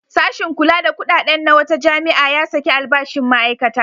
Sashin kula da kuɗaɗen na wata jami'a ya saki albashin ma'aikata.